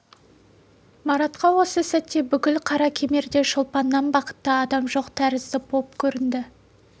маратқа осы сәтте бүкіл қаракемерде шолпаннан бақытты адам жоқ тәрізді боп көрінді